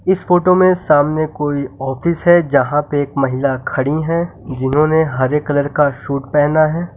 इस फोटो में सामने कोई ऑफिस है यहां पे एक महिला खड़ी हैं जिन्होंने हरे कलर का सूट पहना है।